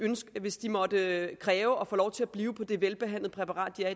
hvis de måtte kræve at få lov til at blive på det velbehandlende præparat de er